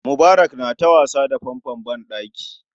Mubarak na ta wasa da fanfon ban ɗaki